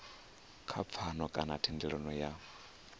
kha pfano kana thendelano ya